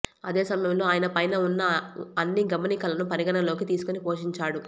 అదే సమయంలో ఆయన పైన ఉన్న అన్ని గమనికలను పరిగణలోకి తీసుకొని పోషించాడు